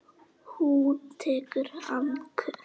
Hún tekur andköf.